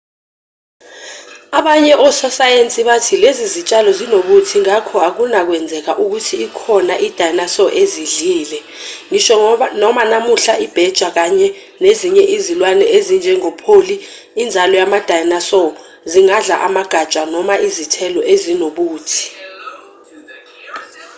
abanye ososayensi bathi lezi zitshalo zinobuthi ngakho akunakwenzeka ukuthi ikhona i-dinosaur ezidlile ngisho noma namuhla ibheja kanye nezinye izilwane ezinjengopholi inzalo yama-dinosaur zingadla amagatsha noma izithelo ezinobuthi